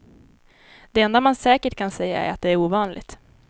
Det enda man säkert kan säga är att det är ovanligt.